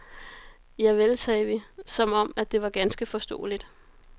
Javel, sagde vi, som om, at det var ganske forståeligt.